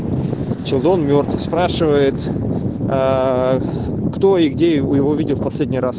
челдон мёртв спрашивает кто и где его видел в последний раз